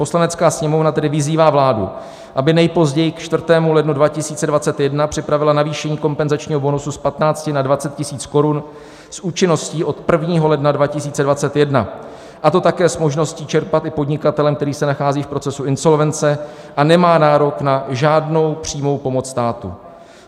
"Poslanecká sněmovna tedy vyzývá vládu, aby nejpozději k 4. lednu 2021 připravila navýšení kompenzačního bonusu z 15 na 20 tisíc korun s účinností od 1. ledna 2021, a to také s možností čerpat i podnikatelem, který se nachází v procesu insolvence a nemá nárok na žádnou přímou pomoc státu.